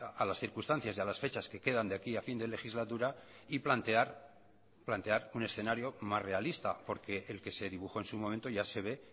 a las circunstancias y a las fechas que quedan de aquí a fin de legislatura y plantear plantear un escenario más realista porque el que se dibujó en su momento ya se ve